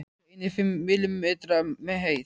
Líklega einir fimm millimetrar á hæð.